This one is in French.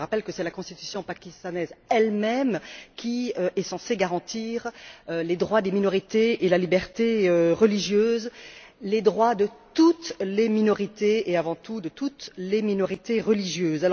Je rappelle que c'est la constitution pakistanaise elle même qui est censée garantir les droits des minorités et la liberté religieuse, les droits de toutes les minorités et, avant tout, de toutes les minorités religieuses.